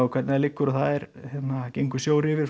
hvernig það liggur og það gengur sjór yfir